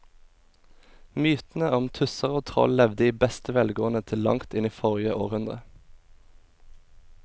Mytene om tusser og troll levde i beste velgående til langt inn i forrige århundre.